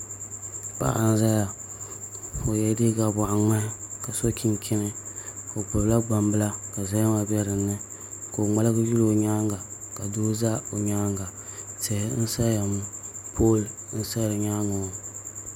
Paɣa n ʒɛya o yɛla liiga boɣa ŋmahi ka so chinchini o gbubila gbambila ka zahama bɛ dinni ka o ŋmaligi yuli o nyaanga ka doo ʒɛ o nyaanga tihi n saya ŋɔ pool n sa di nyaangi ŋɔ